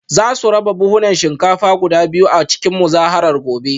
Za su raba buhunan shinkafa guda biyu a cikin muzaharar gobe